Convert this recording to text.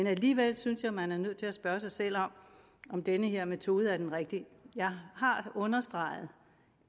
alligevel synes jeg man er nødt til at spørge sig selv om den her metode er den rigtige jeg har understreget